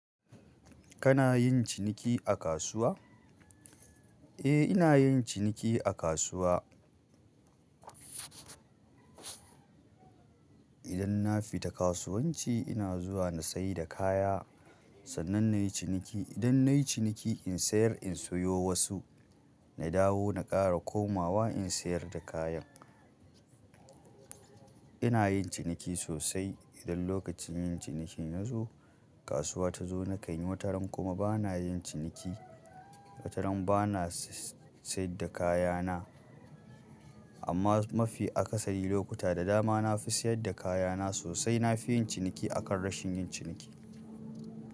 Kana yin ciniki a kasuwa? Eh, ina yin ciniki a kasuwa. Idan na fita kasuwanci ina zuwa na sayi da kaya. Sannan nayi ciniki. Idan nayi ciniki in sayar, in sayo wasu. Na dawo na ƙara komawa in sayar da kayan. Ina yin ciniki sosai. Idan lokacin yin ciniki ya zo, kasuwa ta zo nakan yi wataran kuma bana yin ciniki. Wataran bana si-si-siyar da kayana. Amma mafi akasari lokuta da dama na fi siyar da kayana sosai. Na fi yin ciniki akan rashin yin ciniki.